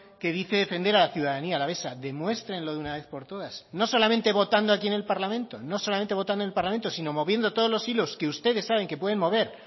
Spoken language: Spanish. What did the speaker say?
que dice defender a la ciudadanía alavesa demuéstrenlo de una vez por todas no solamente votando aquí en el parlamento no solamente votando en el parlamento sino moviendo todos los hilos que ustedes saben que pueden mover